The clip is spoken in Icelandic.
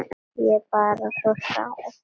Ég er bara svo sár.